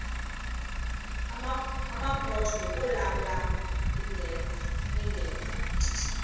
amakrot anokulamla ingeka